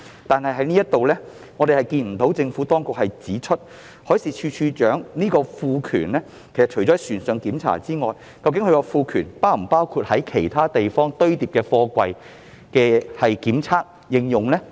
就這一點，政府當局只是指出海事處處長獲賦權作船上檢查，卻未有指明是否還包括其他地方堆放貨櫃的檢測和應用。